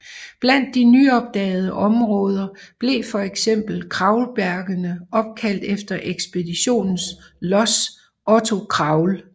Blandt de nyopdagede områder blev for eksempel Kraulbjergene opkaldt efter ekspeditionens lods Otto Kraul